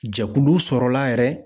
Jɛkulu sɔrɔla yɛrɛ.